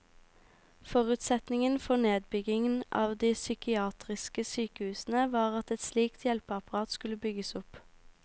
Forutsetningen for nedbyggingen av de psykiatriske sykehusene var at et slikt hjelpeapparat skulle bygges opp.